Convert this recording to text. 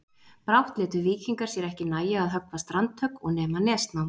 Brátt létu víkingar sér ekki nægja að höggva strandhögg og nema nesnám.